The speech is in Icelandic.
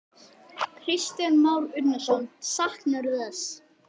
Kristján Már Unnarsson: Saknarðu þess?